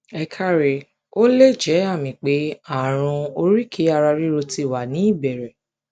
ẹ káre ó lè jẹ àmì pé àrùn oríkèéararíro ti wà ní ìbẹrẹ